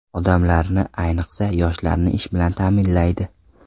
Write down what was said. Odamlarni, ayniqsa, yoshlarni ish bilan ta’minlaydi.